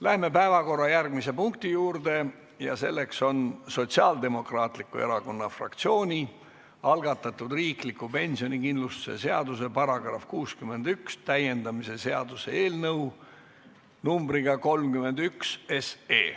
Läheme päevakorra järgmise punkti juurde: Sotsiaaldemokraatliku Erakonna fraktsiooni algatatud riikliku pensionikindlustuse seaduse § 61 täiendamise seaduse eelnõu 31.